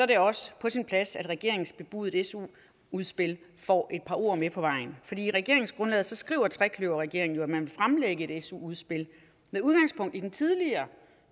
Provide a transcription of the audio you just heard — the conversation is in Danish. det også på sin plads at regeringens bebudede su udspil får et par ord med på vejen i regeringsgrundlaget skriver trekløverregeringen jo at man vil fremlægge et su udspil med udgangspunkt i den tidligere